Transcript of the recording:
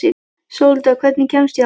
Sóldögg, hvernig kemst ég þangað?